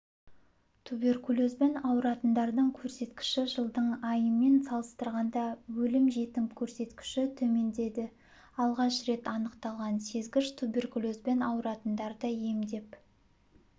туберкулезбен ауыратындардың көрсеткіші жылдың айымен салыстырғанда өлім-жітім көрсеткіші төмендеді алғаш рет анықталған сезгіш туберкулезбен ауыратындарды емдеп